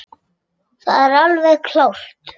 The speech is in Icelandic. Það er alveg klárt.